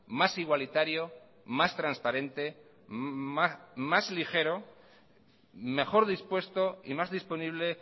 más igualitario más transparente más ligero mejor dispuesto y más disponible